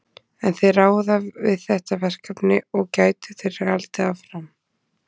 En ráða þeir við þetta verkefni og gætu þeir haldið áfram?